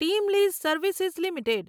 team lease services limited